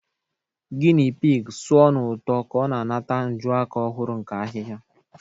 Guinea pig sụọ n'ụtọ ka ọ na-anata njuaka ọhụrụ nke ahihia.